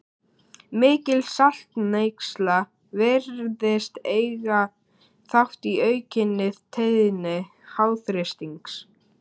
Mikil saltneysla virðist eiga þátt í aukinni tíðni háþrýstings.